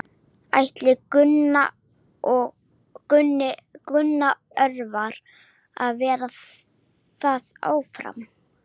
Ætlar Gunnar Örvar að vera þar áfram?